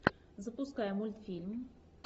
запускай мультфильм